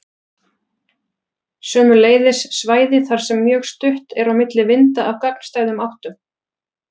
Sömuleiðis svæði þar sem mjög stutt er á milli vinda af gagnstæðum áttum.